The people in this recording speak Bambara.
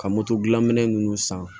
Ka moto dilan minɛn ninnu san